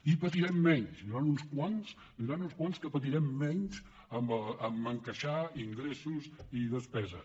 i patirem menys n’hi hauran uns quants que patirem menys a encaixar ingressos i despeses